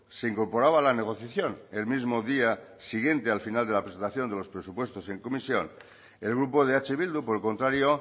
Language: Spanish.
se incorporaba a la negociación el mismo día siguiente al final de la presentación de los presupuestos en comisión el grupo de eh bildu por el contrario